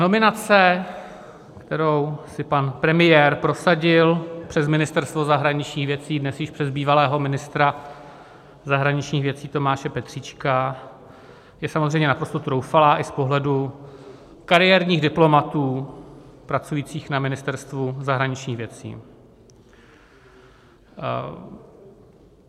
Nominace, kterou si pan premiér prosadil přes Ministerstvo zahraničních věcí, dnes již přes bývalého ministra zahraničních věcí Tomáše Petříčka, je samozřejmě naprosto troufalá i z pohledu kariérních diplomatů pracujících na Ministerstvu zahraničních věcí.